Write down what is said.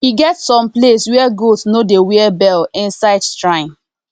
e get some place where goat no dey wear bell inside strine